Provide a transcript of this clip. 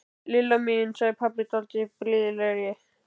Lilla mín sagði pabbi dálítið blíðlegri.